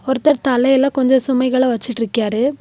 ஒருத்தர் தலையில கொஞ்சம் சுமைகள வச்சிட்டுருக்கியாறு .